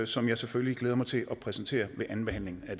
som jeg selvfølgelig glæder mig til at præsentere ved andenbehandlingen af